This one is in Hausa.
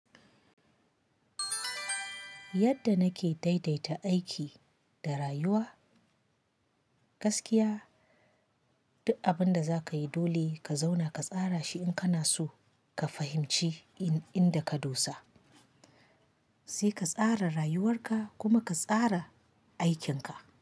Yadda nake daidaita aiki da rayuwa, gaskiya duk abinda zaka yi dole ka zauna ka tsara shi in kana so ka fahimci inda ka dosa. Sai ka tsara rayuwar ka kuma ka tsara aikinka.